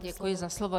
Děkuji za slovo.